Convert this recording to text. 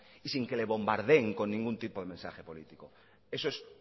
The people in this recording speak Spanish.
y sin que lo bombardeen con ningún tipo de mensaje político eso es